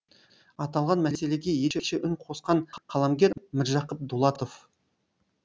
аталған мәселеге ерекше үн қосқан қаламгер міржақып дулатов